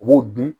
U b'o dun